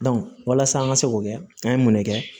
walasa an ka se k'o kɛ an ye mun de kɛ